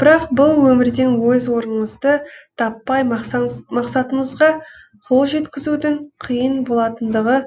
бірақ бұл өмірден өз орыныңызды таппай мақсатыңызға қол жеткізудің қиын болатындығы